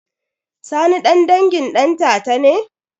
Sani ɗan dangin ɗantata ne?